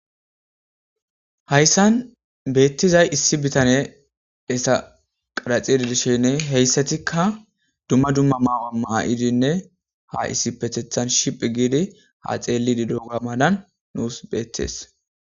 Hayssan beettizay issi bitane esa qaraxidi dishenne heyssatikka dumma dumma maawa maa7idinne ha issi petethan shiphi giidi ha xeellidi dooga madan nuus beettees.